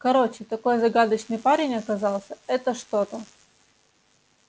короче такой загадочный парень оказался это что-то